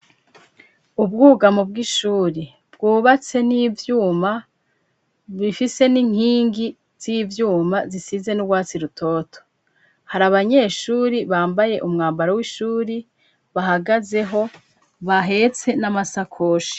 Ubwugamo bw'ishuri bwubatse n'ivyuma, bufise n'inkingi z'ivyuma zisize n'urwatsi rutoto hari abanyeshuri bambaye umwambaro w'ishuri bahagazeho bahetse n'amasakoshi.